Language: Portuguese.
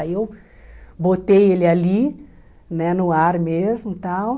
Aí eu botei ele ali, né, no ar mesmo e tal.